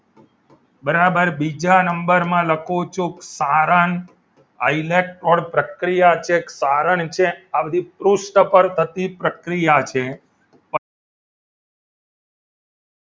બરાબર બીજા નંબર માં લખું છું સારણ આ ઇલેક્ટ્રોન પ્રક્રિયા છે સારણ છે આ બધી પૃષ્ઠ પર થતી પ્રક્રિયા છે.